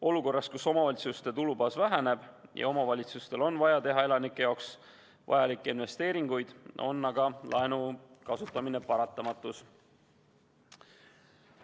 Olukorras, kus omavalitsuste tulubaas väheneb ja omavalitsustel on vaja teha elanike jaoks vajalikke investeeringuid, on aga laenu kasutamine paratamatus.